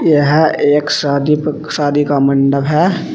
यह एक शादी पे शादी का मंडप है।